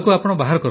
କଣ ବାହାର କରିବେ